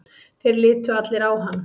Þeir litu allir á hann.